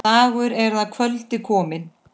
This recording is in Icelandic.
Dagur er að kvöldi kominn.